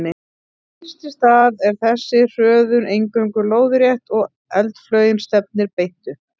Fyrst í stað er þessi hröðun eingöngu lóðrétt og eldflaugin stefnir beint upp.